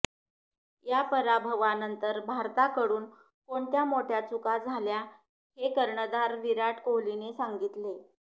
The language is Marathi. या पराभवानंतर भारताकडून कोणत्या मोठ्या चुका झाल्या हे कर्णधार विराट कोहलीने सांगितले